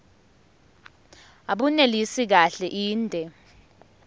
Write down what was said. abunelisi kahle inde